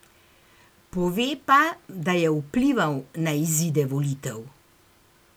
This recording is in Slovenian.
Pove pa, da je vplival na izide volitev.